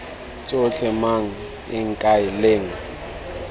tsotlhe mang eng kae leng